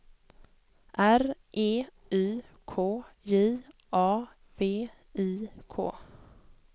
R E Y K J A V I K